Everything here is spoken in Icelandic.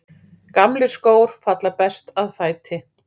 Gamlir skór falla best að fæti.